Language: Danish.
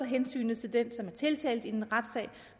hensyn til den som er tiltalt